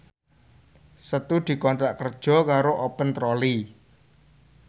Setu dikontrak kerja karo Open Trolley